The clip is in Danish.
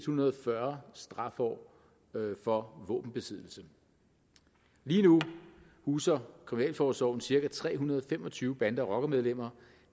hundrede og fyrre strafår for våbenbesiddelse lige nu huser kriminalforsorgen cirka tre hundrede og fem og tyve bande og rockermedlemmer